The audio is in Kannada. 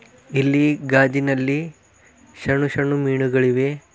ಇಲ್ಲಿ ಗಾಜಿನಲ್ಲಿ ಷಣ್ಣು ಷಣ್ಣು ಮೀನುಗಳಿವೆ.